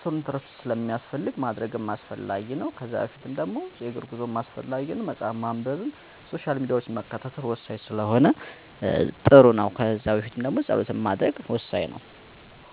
ሰዉነቴ በቂ ረፍት ማግኘት አለበት ብዬ ስለማምን በአብዛኛው ከምሽቱ 3:00 አስከ ንጋቱ 12:00 ለ 9:00 ያክል አተኛለሁ. ከመተኛቴ በፊት ያለው ተግባሬ ደግሞ በመጀመሪያ ራት እበላለሁ. ከዛም ቢያንስ ግማሽ ሰዓት የሚሆን የእግር ጉዞ አደርግና ወደቤት እመለሳለሁ. ቤት ገብቼ መጽሐፍ አነባለሁ. በተጨማሪም ማህበራዊ ድህረ ገፅ ላይ የሚጠቅመኝን መረጃ እመለከትና ለመተኛት እዘጋጃለሁ.